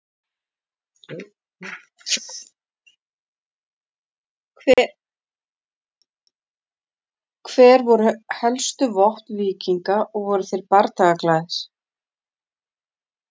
Hver voru helstu vopn víkinga og voru þeir bardagaglaðir?